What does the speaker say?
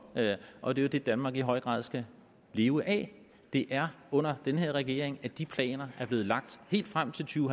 og det er jo det danmark i høj grad skal leve af det er under denne regering at de planer er blevet lagt helt frem til to